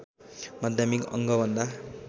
माध्यमिक अङ्ग भन्दा